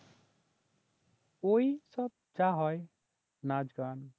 ওইসব যা হয় নাচ গান